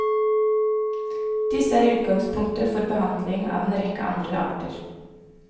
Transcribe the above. Disse er utgangspunktet for behandling av en rekke andre arter.